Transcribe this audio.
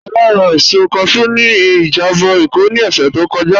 Ọlá rà èsọ̀ káshù ní ìjàbọ̀ Ékó ní ọ̀ṣẹ̀ tó kọ́jà.